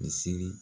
Misiri